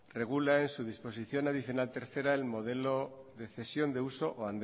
regula en su disposición adicional tercer el modelo de cesión de uso o